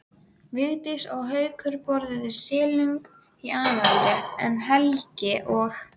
Vigdís og Haukur borðuðu silung í aðalrétt en Helgi og